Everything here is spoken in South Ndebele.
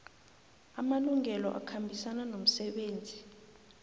amalungelo akhambisana nomsebenzi